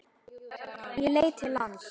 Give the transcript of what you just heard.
Ég leit til lands.